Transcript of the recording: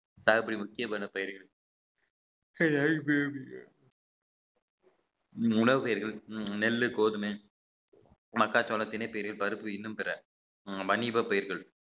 சாகுபடி முக்கியமான பயிர்கள் உணவுப் பயிர்கள் நெல்லு கோதுமை மக்காச்சோளம் தினை பிரிவு பருப்பு இன்னும் பிற வணிக பயிர்கள்